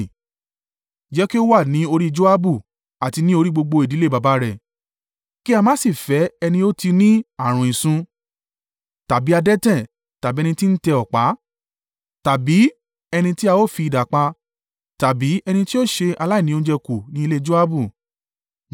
jẹ́ kí ó wà ní orí Joabu, àti ní orí gbogbo ìdílé baba rẹ̀; kí a má sì fẹ́ ẹni ó tí ní ààrùn ìsun, tàbí adẹ́tẹ̀, tàbí ẹni tí ń tẹ ọ̀pá, tàbí ẹni tí a ó fi idà pa, tàbí ẹni tí ó ṣe aláìní oúnjẹ kù ní ilé Joabu.”